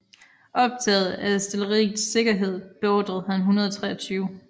Optaget af artilleriets sikkerhed beordrede han 123